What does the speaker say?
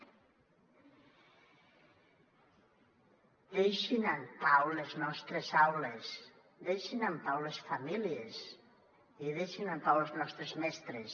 deixin en pau les nostres aules deixin en pau les famílies i deixin en pau els nostres mestres